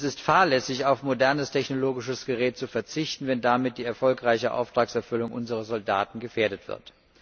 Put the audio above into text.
Denn es ist fahrlässig, auf modernes technologisches Gerät zu verzichten, wenn damit die erfolgreiche Auftragserfüllung unserer Soldaten gefährdet wird.